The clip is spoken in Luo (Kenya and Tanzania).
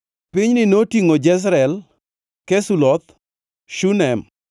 Pinyni notingʼo: Jezreel, Kesuloth, Shunem,